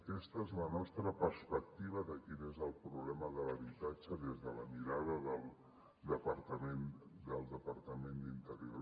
aquesta és la nostra perspectiva de quin és el problema de l’habitatge des de la mirada del departament d’interior